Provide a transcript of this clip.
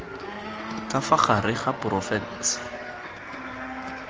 ka fa gare ga porofensi